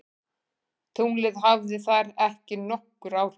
Tunglið hafði þar ekki nokkur áhrif.